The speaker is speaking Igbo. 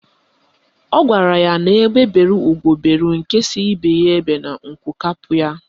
Ọ gwara ya ka egbe bere ugo bere, nke sị ibe ya ebela, nku kwapụ ya.